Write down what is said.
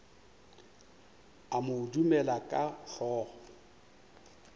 a mo dumela ka hlogo